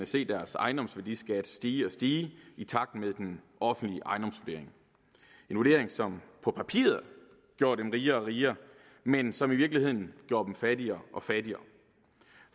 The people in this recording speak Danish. se deres ejendomsværdiskat stige og stige i takt med den offentlige ejendomsvurdering en vurdering som på papiret gjorde dem rigere og rigere men som i virkeligheden gjorde dem fattigere og fattigere